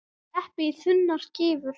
Skerið eplið í þunnar skífur.